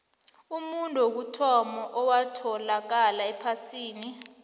umuntu wokuthoma owatholakala ephasini